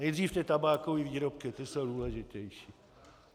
Nejdřív ty tabákové výrobky, ty jsou důležitější.